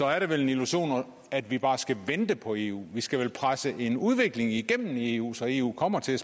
er det vel en illusion at vi bare skal vente på eu vi skal vel presse en udvikling igennem i eu så eu kommer til